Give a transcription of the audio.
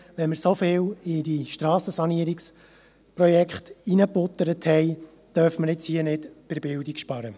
Wenn wir so viel in die Strassensanierungsprojekte hineingebuttert haben, dürfen wir hier nicht bei der Bildung sparen.